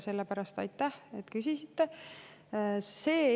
Sellepärast aitäh, et küsisite!